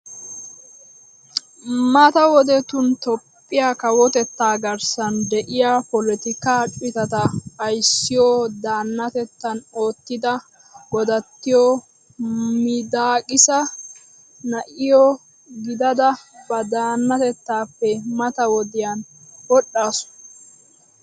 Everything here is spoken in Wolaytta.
Mata wodettun Toophphiyaa kawotetta garssan de'iyaa polotikka cittatta ayssiyo daanatetttan oottida godattiyo midakisa na'iyo gidada ba daanatettappe mata wodiyan wodhdhasu.